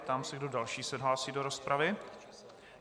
Ptám se, kdo další se hlásí do rozpravy.